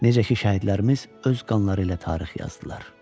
Necə ki, şəhidlərimiz öz qanları ilə tarix yazdılar.